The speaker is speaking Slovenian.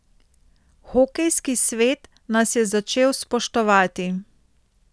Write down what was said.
Hokejski svet nas je začel spoštovati.